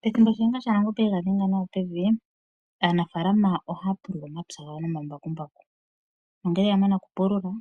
Pethimbo shiyanga shaNangombe e ga dhenga nawa pevi, aanafaalama ohaa pulula omapya gawo nomambakumbaku. Ngele ya mana okupulula